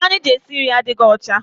Ite anyị ji esi nri adịghị ọcha.